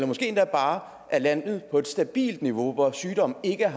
måske bare er landet på et stabilt niveau hvor sygdommen ikke er